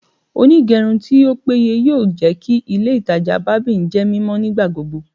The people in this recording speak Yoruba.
Onigerun ti o peye yoo jẹ ki ile itaja barbing jẹ mimọ nigbagbogbo